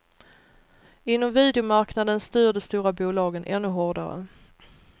Inom videomarknaden styr de stora bolagen ännu hårdare.